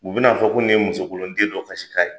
U be n'a fɔ ko nin ye musokolonden dɔ kasikan ye.